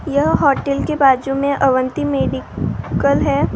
यहाँ होटल के बाजू में अवंती मेडिकल है ।